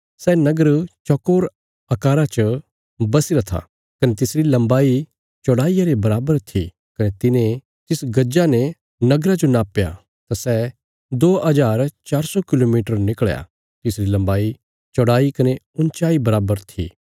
सै नगर चौकोर आकारा च बस्सीरा था कने तिसरी लंबाई चौड़ाईया रे बराबर थी कने तिने तिस गजा ने नगरा जो नापया तां सै दो हजार चार सौ किलोमीटर निकल़या तिसरी लंबाई चौड़ाई कने उँच्चाई बराबर थी